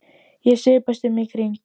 Ég svipast um í kringum mig.